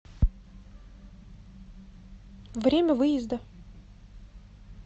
время выезда